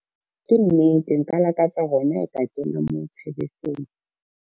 Ke nnete nka lakatsa hona ha e ka kenywa moo tshebetsong.